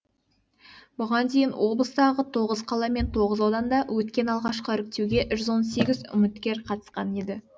бұған дейін облыстағы тоғыз қала мен тоғыз ауданда өткен алғашқы іріктеуге жүз он сегіз үміткер қатысқан еді